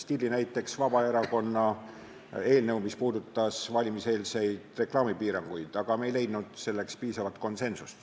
Näiteks võin tuua Vabaerakonna eelnõu, mis puudutas valimiseelseid reklaamipiiranguid, aga me ei leidnud selleks piisavalt konsensust.